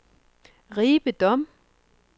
Ribe Dom